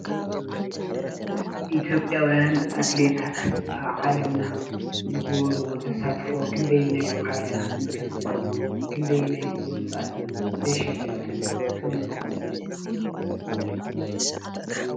ኢትዮጵያውያን አትሌታት አብ ዓለምና ዝገበርዎ ተሳትፎ ክንደየናይ ዓብላልነት ከም ዘለዎን ክንደየናይ ብሉፃትን ተሸለምትን ከም ዝኾኑ ።